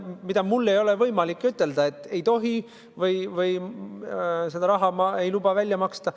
Mul ei ole võimalik ütelda, et nii ei tohi või seda raha ma ei luba välja maksta.